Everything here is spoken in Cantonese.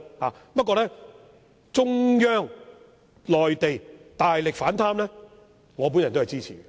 不過，中央內地大力反貪，我是支持的。